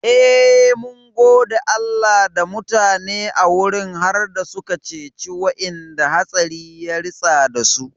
Eh, mun gode Allah da mutane a wurin har suka ceci wa'inda hatsari ya ritsa dasu